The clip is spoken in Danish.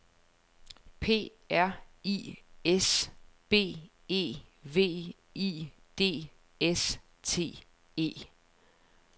P R I S B E V I D S T E